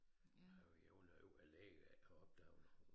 Jeg var ærgerlig over lægen ikke havde opdaget noget